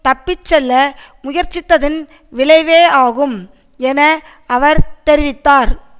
தப்பி செல்ல முயற்சித்ததன் விளைவேயாகும் என அவர் தெரிவித்தார்